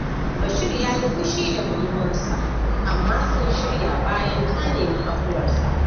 Bashir ya yi fushi da budurwarsa, amma sun shirya bayan ta nemi afuwarsa.